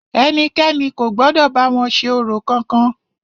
Ẹnikẹ́ni kò gbọdọ̀ bá wọn ṣe orò kankan!